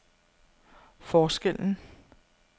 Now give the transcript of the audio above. forskellen